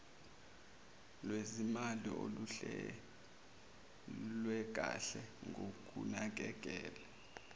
lwezimali oluhlelwekanhe ngokunakekela